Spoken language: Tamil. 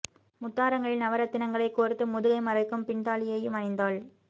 முத்தாரங்களில் நவ ரத்தினங்களைக் கோர்த்து முதுகை மறைக்கும் பின்தாலி யையும் அணிந்தாள்